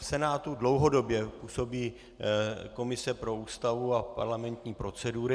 V Senátu dlouhodobě působí komise pro Ústavu a parlamentní procedury.